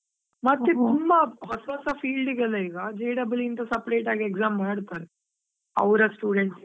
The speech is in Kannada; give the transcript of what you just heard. ತುಂಬಾ ಹೊಸ ಹೊಸಾ field ಗೆ ಎಲ್ಲಾ ಈಗ J double E ಅಂತ separate ಆಗಿ exam ಅಂತಾ ಮಾಡ್ತಾರೆ, ಅವ್ರ students .